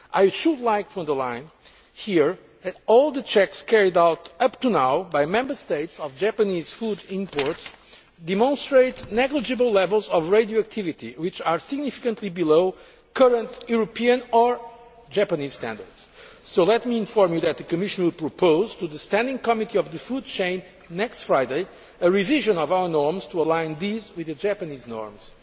I should like to underline here that all the checks carried out up to now, by Member States, of Japanese food imports demonstrate negligible levels of radioactivity, which are significantly below current European or Japanese standards. Let me inform you that the Commission will propose to the standing committee on the food chain next Friday a revision of our norms to align these with the Japanese norms.